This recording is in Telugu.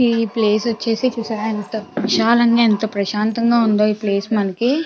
ఈ ప్లేస్ వచ్చేసి చూసారా ఎంత విశాలంగా ఎంత ప్రశాంతంగా ఉందొ. ఈ ప్లేస్ మనకి --